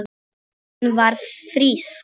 Hún var frísk.